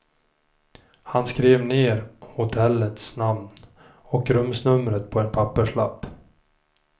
Han skrev ned hotellets namn och rumsnumret på en papperslapp.